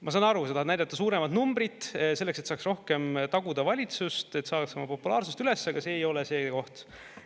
Ma saan aru, sa tahad näidata suuremat numbrit, selleks et saaks rohkem taguda valitsust, et saaks oma populaarsust üles, aga see ei ole see koht.